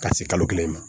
Ka se kalo kelen ma